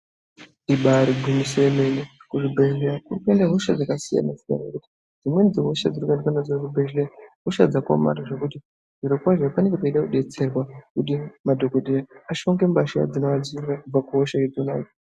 Ibari gwinyiso remene kuzvibhehlera kuri kuenda hosha dzakasiyana siyana dzimweni dzehosha dzinogarwe nadzo kuzvibhehleya ihosha dzakaomarara zviro kwazvo panenge peida kudetserwa kuti madokotera ashonge mbahla dzinoadziirira pahoshadzo